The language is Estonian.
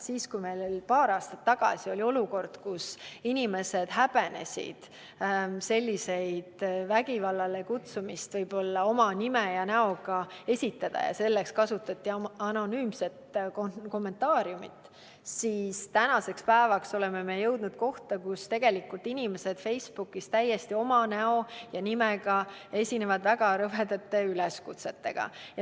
Veel paar aastat tagasi oli meil olukord, kus inimesed häbenesid vägivallale kutsuda oma nime ja näoga, selleks kasutati anonüümset kommentaariumit, kuid tänaseks päevaks oleme jõudnud selleni, et inimesed esitavad Facebookis täiesti oma näo ja nimega väga rõvedaid üleskutseid.